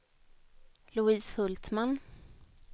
Louise Hultman